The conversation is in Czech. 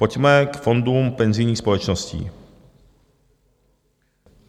Pojďme k fondům penzijních společností.